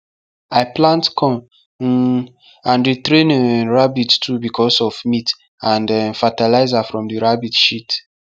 i plant corn um and dey train um rabbit too becos of meat and um fatalizer from the rabbit shit